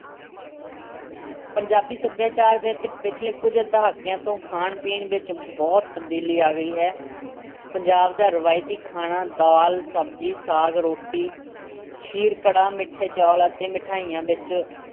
ਪੰਜਾਬੀ ਸੱਭਿਆਚਾਰ ਵਿੱਚ ਪਿਛਲੇ ਕੁੱਝ ਦਹਾਕਿਆਂ ਤੋਂ ਖਾਣ-ਪੀਣ ਵਿੱਚ ਬਹੁਤ ਤਬਦੀਲੀ ਆ ਗਈ ਹੈ। ਪੰਜਾਬ ਦਾ ਰਵਾਇਤੀ ਖਾਣਾ ਦਾਲ, ਸਬਜ਼ੀ, ਸਾਗ, ਰੋਟੀ, ਖੀਰ-ਕੜਾਹ, ਮਿੱਠੇ ਚੌਲ ਅਤੇ ਮਿਠਿਆਈਆਂ ਵਿੱਚੋਂ